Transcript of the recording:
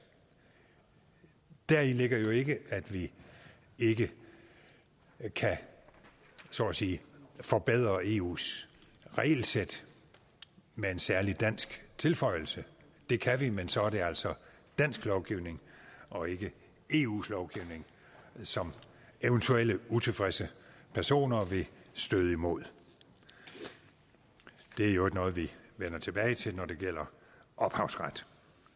deri ligger jo ikke at vi ikke kan så at sige forbedre eus regelsæt med en særlig dansk tilføjelse det kan vi men så er det altså dansk lovgivning og ikke eus lovgivning som eventuelle utilfredse personer vil støde imod det er i øvrigt noget vi vender tilbage til når det gælder ophavsret